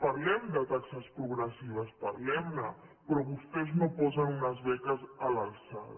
parlem de taxes progressives parlem ne però vostès no posen unes beques a l’alçada